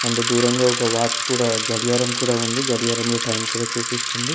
ఇంక దూరంగా ఒక వాచ్ కూడా గడియారం కూడా ఉంది గడియారంలో టైం కూడా చూపిస్తుంది.